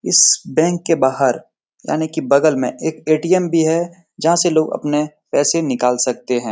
इस बेंक के बाहर यानी की बगल में एक ऐ.टी.एम. भी है जहां से लोग अपने पैसे निकाल सकते हैं।